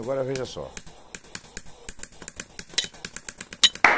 Agora, veja só.